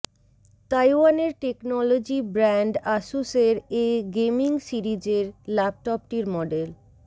তাইওয়ানের technology brand আসুসের এ গেমিং সিরিজের ল্যাপটপটির মডেল